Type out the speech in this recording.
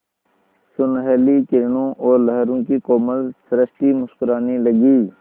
सुनहली किरणों और लहरों की कोमल सृष्टि मुस्कराने लगी